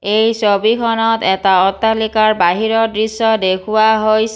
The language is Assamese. এই ছবিখনত এটা অট্টালিকাৰ বাহিৰৰ দৃশ্য দেখুওৱা হৈ --